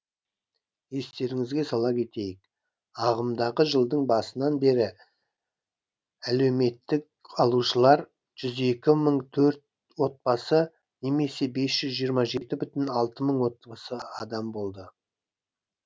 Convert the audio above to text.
естеріңізге сала кетейік ағымдағы жылдың басынан бері әлеуметтік алушылар жүз екі мың төрт отбасы немесе бес жүз жиырма жеті бүтін алты мың адам болды